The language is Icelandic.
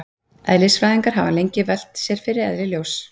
Eðlisfræðingar hafa lengi velt fyrir sér eðli ljóss.